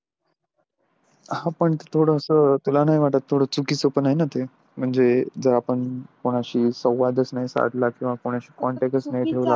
हा पण थोडस तुला नाही वाटत थोड चुकीच पण आहे न ते म्हणजे जर आपण कुणाशी संवादच नाही साधला किंवा कुणाशी contacts नाही ठेवला.